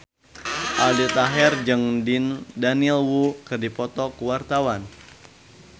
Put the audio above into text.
Aldi Taher jeung Daniel Wu keur dipoto ku wartawan